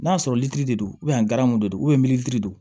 N'a sɔrɔ litiri de don de do don